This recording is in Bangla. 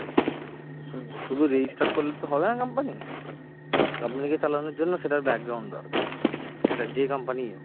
শুধু register করলে তো হবে না company company কে চালানোর জন্য সেটার দরকার সেটা যে company হোক